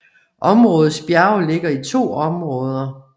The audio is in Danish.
Områdets bjerge ligger i to områder